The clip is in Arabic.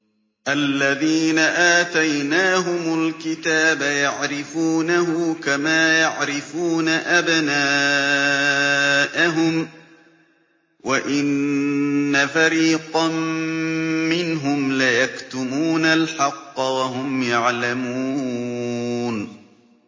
الَّذِينَ آتَيْنَاهُمُ الْكِتَابَ يَعْرِفُونَهُ كَمَا يَعْرِفُونَ أَبْنَاءَهُمْ ۖ وَإِنَّ فَرِيقًا مِّنْهُمْ لَيَكْتُمُونَ الْحَقَّ وَهُمْ يَعْلَمُونَ